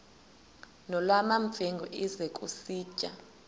nolwamamfengu ize kusitiya